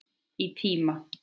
Í tíma.